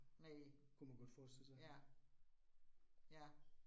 Næ. Ja, ja